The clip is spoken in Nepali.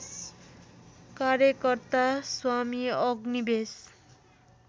कार्यकर्ता स्वामी अग्निवेश